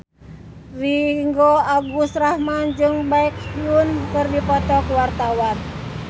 Ringgo Agus Rahman jeung Baekhyun keur dipoto ku wartawan